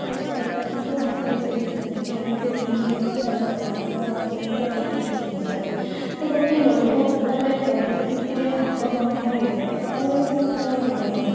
ଓଡିଶା ସରକାରଙ୍କୁ ଦାବି କରୁଛନ୍ତି କି ଆମକୁ ଏଇ ଜିନିଷଟା ଦରକାର ଆମର ଆସୁବିଧା ଏଇ ଏଇ ଜିନିଷରେ ତ ଗୋଟେ ଲୋକ ଯେତେବେଳେ ପରିସ୍ଥିତିରେ ହାତବନ୍ଧା ହେଇଯାଏ ସେତେବେଲେ ସେ ଆଉ କଣ କରିବ